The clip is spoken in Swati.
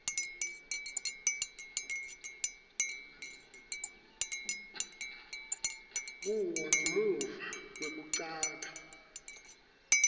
kuwo ngemuva kwekucala